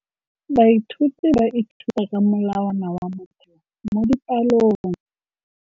Baithuti ba ithuta ka molawana wa motheo mo dipalong.